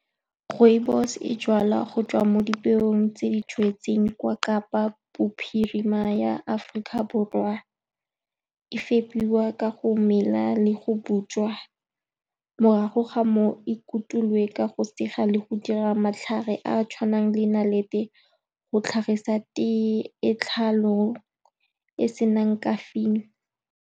Rooibos-e e jalwa go tswa mo dipeong tse di jetsweng kwa Kapa Bophirima ya Aforika Borwa. E fepiwa ka go mela le go butswa, morago ga moo ikutulwe ka go sega le go dira matlhare a a tshwanang le nnalete go tlhagisa e e senang caffeine.